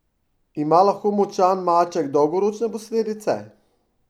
Ima lahko močan maček dolgoročne posledice?